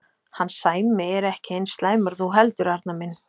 Hann Sæmi er ekki eins slæmur og þú heldur, Arnar minn.